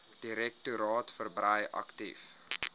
direktoraat verbrei aktief